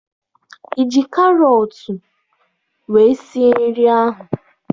Ị ji karọt wee sie nri ahụ?